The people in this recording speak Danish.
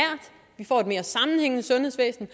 vi får et mere sammenhængende sundhedsvæsen